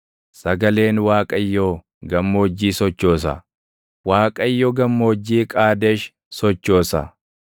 Sagaleen Waaqayyoo gammoojjii sochoosa; Waaqayyo Gammoojjii Qaadesh sochoosa.